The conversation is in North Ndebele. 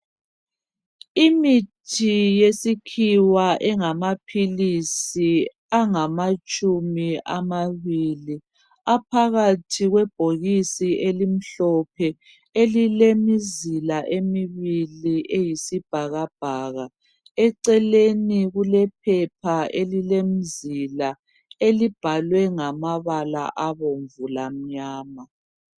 Imithi yesikhiwa engamaphilisi angamatshumi amabili, aphakathi kwebhokisi elimhlophe elilemizila emibili eyisibhakabhaka. Eceleni kulephepha elilemzila elibhalwe ngamabala abomvu lamnyama